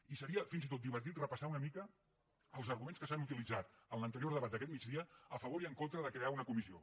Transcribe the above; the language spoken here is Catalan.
i seria fins i tot divertit repassar una mica els arguments que s’han utilitzat en l’anterior debat d’aquest migdia a favor i en contra de crear una comissió